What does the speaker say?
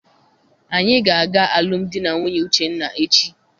Anyị ga aga alụmdi na nwunye Uchenna echi.